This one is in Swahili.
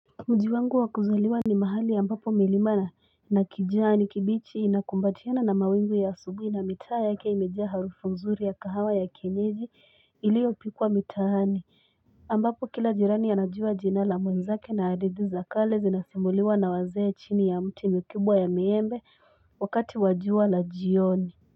Mjiwangu wakuzaliwa ni mahali ambapo milima na nakijani kibichi inakumbatiwana na mawingu ya asubui na mitaa yake imejaa harufu nzuri ya kahawa ya kienyeji iliopikwa mitaani ambapo kila jirani anajuwa jina la mwenzake na adithi za kale zinasimuliuwa na wazee chini yamti mikubwa ya miembe wakati wajuwa la jioni.